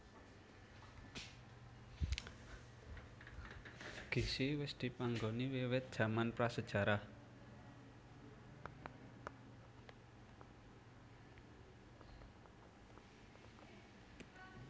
Gissi wis dipanggoni wiwit jaman pra sajarah